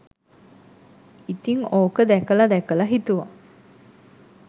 ඉතිං ඕක දැකලා දැකලා හිතුවා